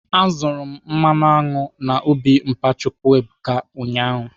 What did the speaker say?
Azụrụ m mmanụ aṅụ na ubi mpa Chukwuebuka ụnyaahụ.